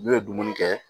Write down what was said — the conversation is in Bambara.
N'u ye dumuni kɛ